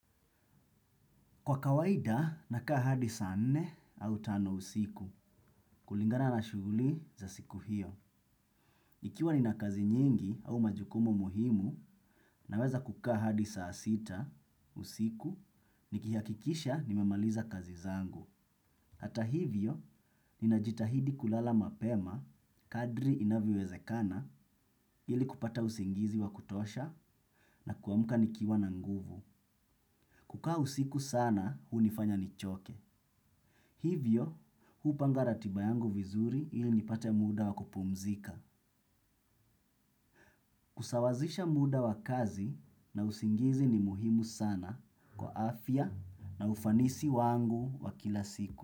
Kwa kawaida, nakaa hadi saa nne au tano usiku. Kulingana na shughuli za siku hiyo. Ikiwa nina kazi nyingi au majukumu muhimu, naweza kukaa hadi saa sita usiku, nikihakikisha nimemaliza kazi zangu. Hata hivyo, ninajitahidi kulala mapema, kadri inavyowezekana, ili kupata usingizi wa kutosha, na kuamka nikiwa na nguvu. Kukaa usiku sana, hunifanya nichoke. Hivyo, hupanga ratiba yangu vizuri ili nipate muda wa kupumzika. Kusawazisha muda wa kazi na usingizi ni muhimu sana kwa afya na ufanisi wangu wa kila siku.